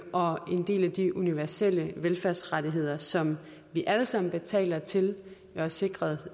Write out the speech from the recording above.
og en del af de universelle velfærdsrettigheder som vi alle sammen betaler til og er sikret